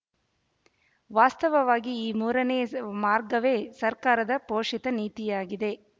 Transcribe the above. ವಾಸ್ತವವಾಗಿ ಈ ಮೂರನೆಯ ಮಾರ್ಗವೇ ಸರ್ಕಾರದ ಪೋಶಿತ ನೀತಿಯಾಗಿದೆ